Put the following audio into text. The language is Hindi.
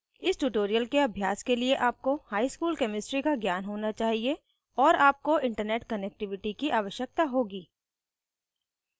इस ट्यूटोरियल के अभ्यास के लिए आपको हाई स्कूल केमिस्ट्री का ज्ञान होना चाहिए और आपको इंटरनेट कनेक्टिविटी की आवश्यकता होगी